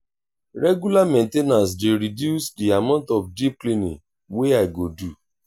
regular main ten ance dey reduce the amount of deep cleaning wey i go do.